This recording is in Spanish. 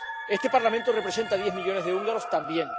Este Parlamento representa a diez millones de húngaros también.